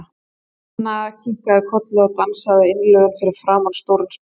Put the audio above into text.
Nína kinkaði kolli og dansaði af innlifun fyrir framan stóran spegil.